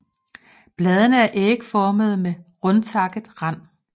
Bladene er ægformede med rundtakket rand